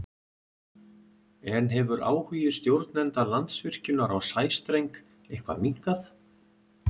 En hefur áhugi stjórnenda Landsvirkjunar á sæstreng eitthvað minnkað?